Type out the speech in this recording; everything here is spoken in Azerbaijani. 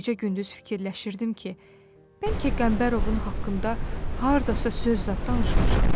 Gecə-gündüz fikirləşirdim ki, bəlkə Qəmbərovun haqqında hardasa söz zad danışmışam.